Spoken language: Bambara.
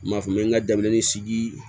N m'a fɔ n bɛ n ka denmisɛnnin sigi